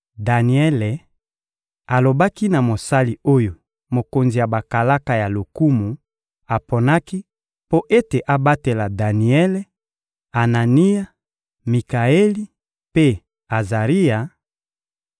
Daniele alobaki na mosali oyo mokonzi ya bakalaka ya lokumu aponaki mpo ete abatela Daniele, Anania, Mikaeli mpe Azaria: